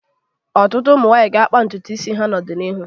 Ọtụtụ ụmụ nwaanyị ga-akpa ntutu isi ha n'ọdịnihu.